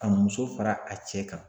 Ka muso fara a cɛ kan